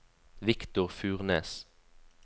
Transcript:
Victor Furnes